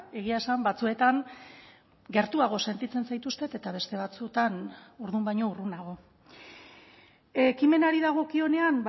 egia esan batzuetan gertuago sentitzen zaituztet eta beste batzuetan orduan baino urrunago ekimenari dagokionean